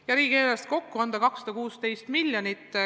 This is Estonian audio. Ja riigieelarves on teadusele minevat raha kokku 216 miljonit.